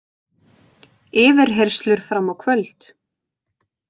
Yfirheyrslur fram á kvöld